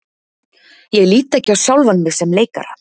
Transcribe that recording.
Ég lít ekki á sjálfan mig sem leikara.